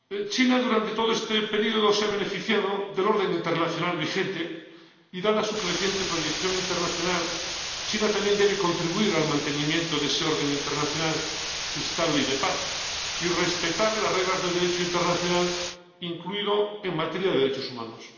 China durante todo este periodo se ha beneficiado del orden internacional vigente y, dada su creciente proyección internacional, China también debe contribuir al mantenimiento de ese orden internacional estable y de paz y respetar las reglas del Derecho internacional, también en materia de derechos humanos.